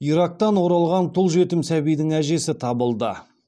ирактан оралған тұл жетім сәбидің әжесі табылды